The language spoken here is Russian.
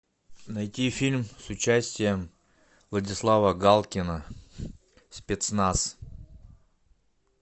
найти фильм с участием владислава галкина спецназ